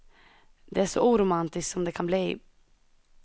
Det är så oromantiskt som det kan bli.